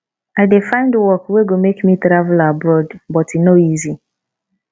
i dey find work wey go make me travel abroad but e no easy